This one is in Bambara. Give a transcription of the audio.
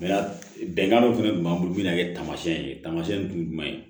bɛnkan dɔ fɛnɛ b'an bolo min bɛna kɛ taamasiyɛn ye taamasiyɛn tun ye jumɛn ye